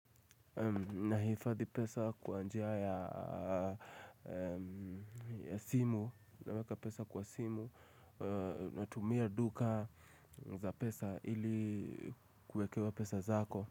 Nahifadhi pesa kwa njia ya simu naweka pesa kwa simu natumia duka za pesa ili kuekewa pesa zako.